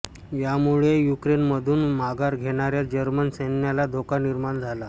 यामुळे युक्रेनमधून माघार घेणाऱ्या जर्मन सैन्याला धोका निर्माण झाला